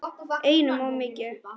Einum of mikið.